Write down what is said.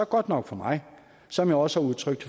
godt nok for mig som jeg også har udtrykt